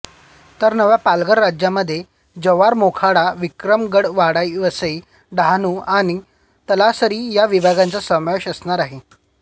तर नव्या पालघर जिल्ह्यामध्ये जव्हारमोखाडा विक्रमगडवाडावसई डहाणू आणि तलासरी या विभागांचा समावेश असणार आहे